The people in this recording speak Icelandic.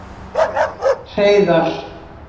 Hreiðar